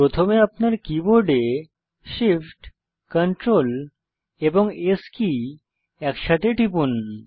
প্রথমে আপনার কীবোর্ডে Shift Ctrl এবং S কী একসাথে টিপুন